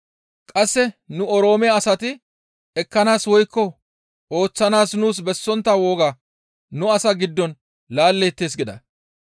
qasse nu Oroome asati ekkanaas woykko ooththanaas nuus bessontta woga nu asaa giddon laalleettes» gida.